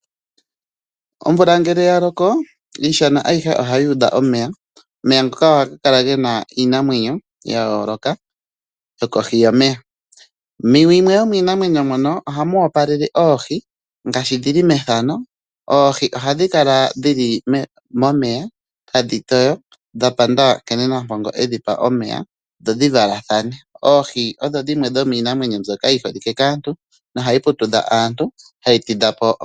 Omvula ngele ya loko iishana ayihe ohayi udha omeya. Omeya ngoka ohaga kala ge na iinamwenyo ya yooloka yokohi yomeya. Muyimwe yomiinamwenyo mbyono omwa kwatelwa oohi hadhi kala dhi li momeya tadhi toyo dha panda nkene Nampongo edhi pa omeya dho dhi valathane. Oohi odho dhimwe dhomiinamwenyo mbyoka yi holike kaantu, noha dhi putudha aantu dho ohadhi tidha po omukaga.